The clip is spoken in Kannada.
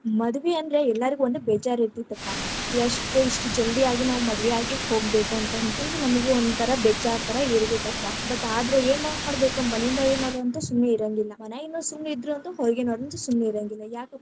ಮದ್ವೀ ಅಂದ್ರ ಎಲ್ಲಾರ್ಗು ಒಂದ್‌ ಬೇಜಾರ ಇರ್ತೀತ್ತಪ್ಪಾ, ಎಷ್ಟ ಇಷ್ಟ ಜಲ್ದಿಯಾಗಿ ನಾವ್‌ ಮದವಿ ಆಗಿ ಹೋಗ್ಬೇಕಂತ ಅಂತ ನಮಗೂ ಒಂಥರಾ ಬೆಜ್ಜಾರ್ ತರಾ ಇರತಿತ್ತಪ್ಪಾ, but ಆದ್ರೇ ಎನ್‌ ಮಾಡ್ಬೇಕ ಮನಿದ ಏನರ ಅಂತ ಸುಮ್ಮಿರಂಗಿಲ್ಲಾ. ಮನ್ಯಾಗಿನ್ನವರ್ ಸುಮ್ಮನಿದ್ರ ಅಂತೂ ಹೊರಗಿನವರಂತು ಸುಮ್ಮಿರಂಗಿಲ್ಲಾ, ಯಾಕಪ್ಪಾ.